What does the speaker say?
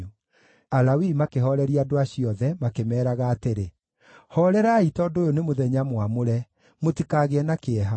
Alawii makĩhooreria andũ acio othe, makĩmeeraga atĩrĩ, “Hoorerai tondũ ũyũ nĩ mũthenya mwamũre. Mũtikagĩe na kĩeha.”